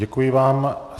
Děkuji vám.